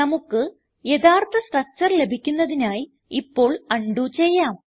നമുക്ക് യഥാർത്ഥ സ്ട്രക്ചർ ലഭിക്കുന്നതിനായി ഇപ്പോൾ ഉണ്ടോ ചെയ്യാം